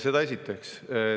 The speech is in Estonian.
Seda esiteks.